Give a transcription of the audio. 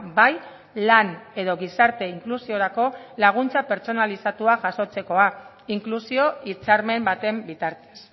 bai lan edo gizarte inklusiorako laguntza pertsonalizatua jasotzekoa inklusio hitzarmen baten bitartez